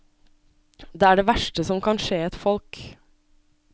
Det er det verste som kan skje et folk.